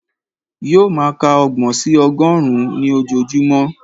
Yóò máa ka ọgbọ̀n sí ọgọ́rùn-ún ní ojoojúmọ́